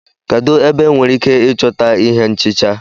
Kedu ebe enwere ike ịchọta ihé nchịcha?